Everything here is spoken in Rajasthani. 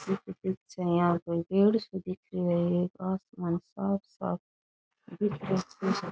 पेड़ सो दिख रहा है आसमान --